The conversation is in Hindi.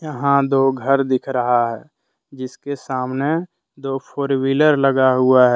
यहां दो घर दिख रहा है जिसके सामने दो फोर व्हीलर लगा हुआ है ।